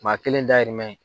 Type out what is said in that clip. Maa kelen dayirimɛ.